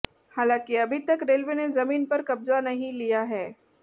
हालांकि अभी तक रेलवे ने जमीन पर कब्जा नहीं लिया है